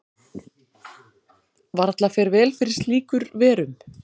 Varla fer vel fyrir slíkur verum.